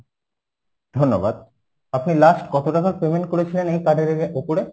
ধন্যবাদ আপনি last কত টাকার payment করেছিলেন এই card এর উপরে?